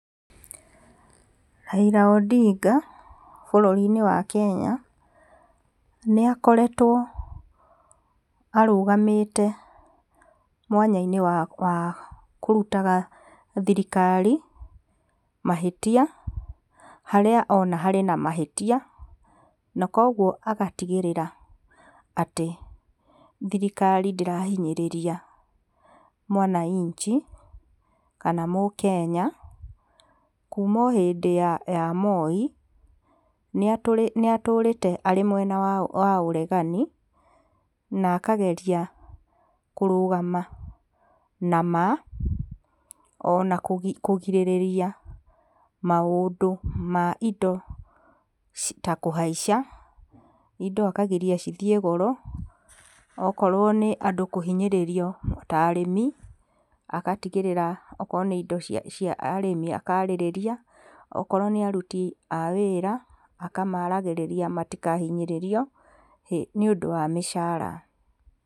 Raila Odinga, bũrũri-inĩ wa kenya, nĩ akoretwo arũgamĩte mwanya-inĩ wa kũrutaga thirikari mahĩtia harĩa ona harĩ na mahĩtia na koguo agatigĩrĩra atĩ thirikari ndĩrahinyĩria mwananchi kana mũkenya. Kuma o hĩndĩ ya Moi, nĩ atũrĩte arĩ mwena wa ũregani na akageria kũrũgama na ma ona kũrigĩrĩria maũndũ ma indo ta kũhaica indo akagiria cigĩe goro okorwo nĩ andũ kũhinyĩrĩrio ta arĩmi agatigĩrĩra okorwo nĩ indo cia arĩmi akarĩrĩria akorwo nĩ aruti a wĩra akamaragĩrĩria matikahinyĩrĩrio nĩ ũndũ wa mĩcara